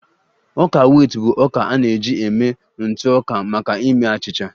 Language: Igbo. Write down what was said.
Ọka wit bụ ọka a na-eji eme ntụ ọka maka ime achịcha